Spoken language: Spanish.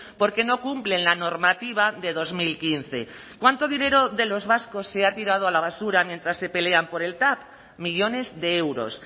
porque no cumplen la normativa de dos mil quince cuánto dinero de los vascos se ha tirado a la basura mientras se pelean por el tav millones de euros